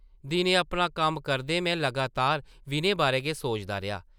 दिनें अपना कम्म करदे में लगातार विनय बारै गै सोचदा रेहा ।